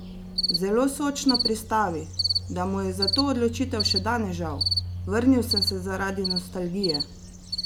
Zelo sočno pristavi, da mu je za to odločitev še danes žal: "Vrnil sem se zaradi nostalgije.